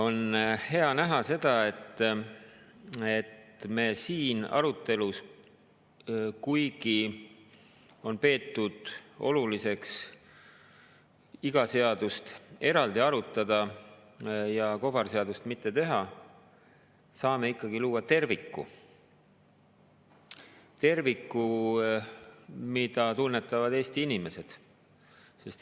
On hea näha, et me siin arutelus, kuigi on peetud oluliseks iga seadust eraldi arutada ja kobarseadust mitte teha, saame ikkagi luua terviku – terviku, mida tunnetavad Eesti inimesed.